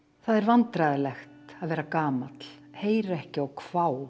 það er vandræðalegt að vera gamall heyra ekki og hvá